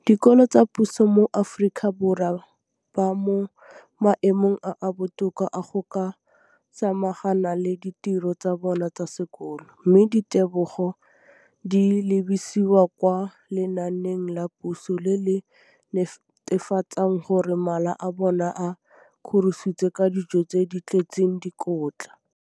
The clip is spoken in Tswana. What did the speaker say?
dikolo tsa puso mo Aforika Borwa ba mo maemong a a botoka a go ka samagana le ditiro tsa bona tsa sekolo, mme ditebogo di lebisiwa kwa lenaaneng la puso le le netefatsang gore mala a bona a kgorisitswe ka dijo tse di tletseng dikotla.